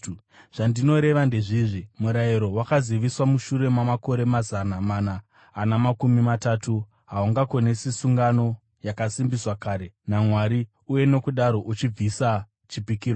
Zvandinoreva ndezvizvi: Murayiro, wakaziviswa mushure mamakore mazana mana ana makumi matatu, haungakonesi sungano yakasimbiswa kare naMwari uye nokudaro uchibvisa chipikirwa.